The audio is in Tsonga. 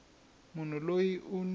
wa munhu loyi u n